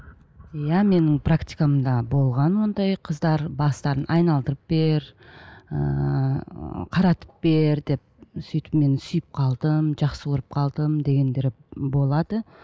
иә менің практикамда болған ондай қыздар бастарын айналдырып бер ыыы қаратып бер деп сөйтіп мен сүйіп қалдым жақсы көріп қалдым дегендер болады